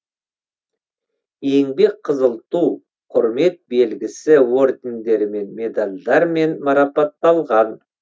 еңбек қызыл ту құрмет белгісі ордендерімен медальдармен марапатталған